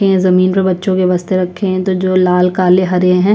जमीन पर बच्चो के बस्ते रखे है जो लाल काले हरे है।